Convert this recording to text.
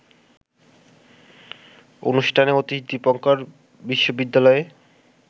অনুষ্ঠানে অতীশ দীপঙ্কর বিশ্ববিদ্যালয়ে